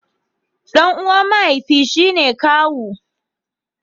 Dan uwa mahaifi shi ne kawu.